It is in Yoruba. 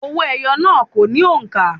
Òwó eyo náà kò ní òǹkà.